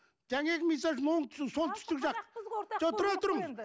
жаңағы мысал үшін оңтүстік солтүстік жақ жоқ тұра тұрыңыз